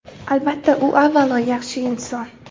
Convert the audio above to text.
Albatta, u avvalo, yaxshi inson.